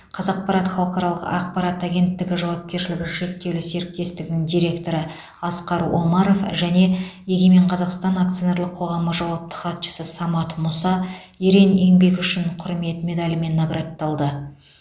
қазақпарат халықаралық ақпарат агенттігі жауапкершілігі шектеулі серіктестігінің директоры асқар омаров және егемен қазақстан акционерлік қоғамы жауапты хатшысы самат мұса ерен еңбегі үшін құрмет медалімен наградталды